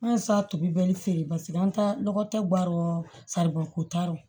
An ye satugu bɛɛ feere paseke an ta lɔkɔbaro faribon ko t'a rɔ